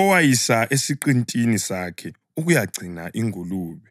owayisa esiqintini sakhe ukuyagcina ingulube.